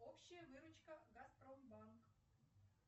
общая выручка газпромбанк